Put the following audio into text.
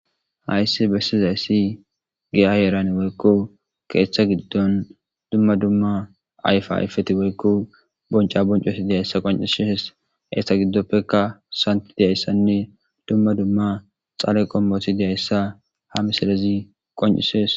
hayssi bessizayssi giya heeran woykko keeththa giddon dumma dumma ayfa ayfeti woykko bonca boncosi deyayssa qoncishes eeththa giddoppekka santi deyayssanne dumma dumma xaale qommoti deyayssa ha misalezi qoncises